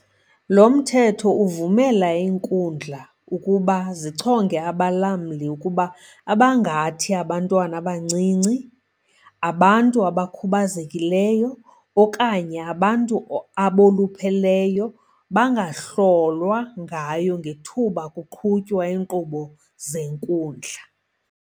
Lo Mthetho uvumela iinkundla ukuba zichonge abalamli ukuba abangathi abantwana abancinci, abantu abakhubazekileyo okanye abantu abolupheleyo bangahlolwa ngayo ngethuba kuqhutywa iinkqubo zenkundla.